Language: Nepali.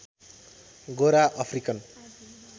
गोरा अफ्रिकन